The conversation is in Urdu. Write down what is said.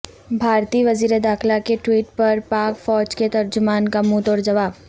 بھارتی وزیر داخلہ کے ٹویٹ پر پاک فوج کے ترجمان کا منہ توڑ جواب